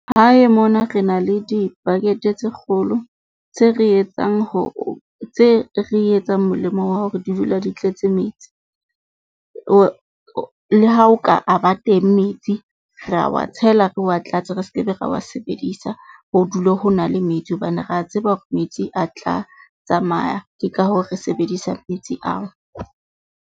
Hae mona re na le di-bucket-e tse kgolo tse re etsang hore tse re etsang molemo wa hore di dula di tletse metsi. Le ha o ka a teng metsi, re a wa tshela, re wa tlatse, re skebe ra wa sebedisa. Ho dule ho na le metsi hobane re a tseba hore metsi a tla tsamaya. Ke ka hoo re sebedisa metsi ao.